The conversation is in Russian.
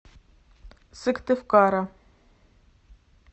сыктывкара